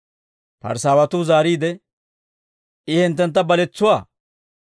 Parisaawatuu zaariide, «I hinttenakka baletsuwaa?